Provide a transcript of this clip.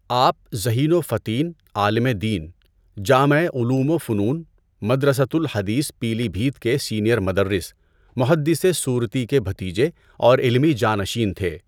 آپ ذہین و فطین عالمِ دین، جامعِ علوم و فنون، مدرسۃ الحدیث پیلی بھیت کے سینئر مدرس، محدثِ سورتی کے بھتیجے اور علمی جانشین تھے۔